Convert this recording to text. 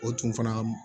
O tun fana ka